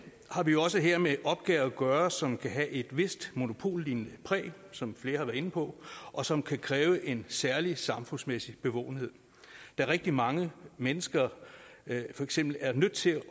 har vi jo også her med en opgave at gøre som kan have et vist monopollignende præg som flere har været inde på og som kan kræve en særlig samfundsmæssig bevågenhed da rigtig mange mennesker for eksempel er nødt til